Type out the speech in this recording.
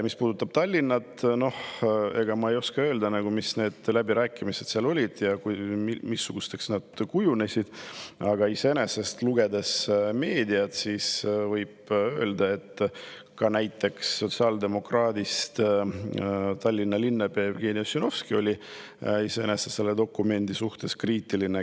Mis puudutab Tallinna, siis ma ei oska öelda, millised need läbirääkimised seal olid või missuguseks nad kujunesid, aga kui lugeda meediat, siis võib öelda, et ka näiteks sotsiaaldemokraadist Tallinna linnapea Jevgeni Ossinovski oli selle dokumendi suhtes kriitiline.